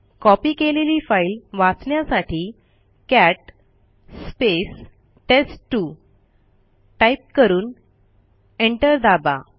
copy केलेली file वाचण्यासाठी cat टेस्ट2 टाईप करून एंटर दाबा